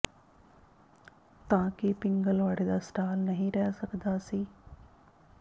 ਤਾਂ ਕਿ ਪਿੰਗਲਵਾੜੇ ਦਾ ਸਟਾਲ ਨਹੀਂ ਰਹਿ ਸਕਦਾ ਸੀ